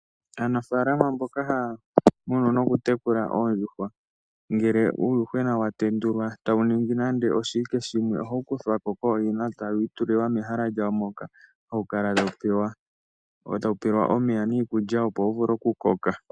Aanafaalama mboka ha ya munu nokutekula oondjuhwa ngele uuyuhwena wa tendulwa e ta wu ningi nande oshiwike shimwe oha wu kuthwako kooyina eta wu itulilwa mehala lyawo moka ha wu kala ta wu pelwa omeya niikulya opo wu vule okukoka.